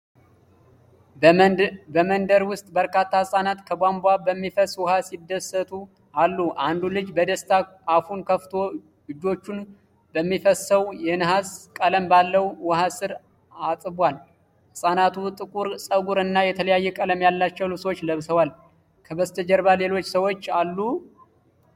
በመንደር ውስጥ በርካታ ህጻናት ከቧንቧ በሚፈስ ውሃ ሲደሰቱ አሉ። አንዱ ልጅ በደስታ አፉን ከፍቶ እጆቹን በሚፈሰው የነሐስ ቀለም ባለው ውሃ ስር አጥቧል። ህፃናቱ ጥቁር ፀጉር እና የተለያየ ቀለም ያላቸው ልብሶች ለብሰዋል። ከበስተጀርባ ሌሎች ሰዎች አሉ?